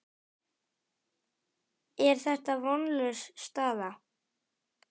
Er þetta vonlaus staða?